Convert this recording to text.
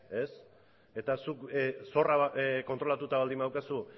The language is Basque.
eta zuk zorra kontrolatuta baldin badaukazu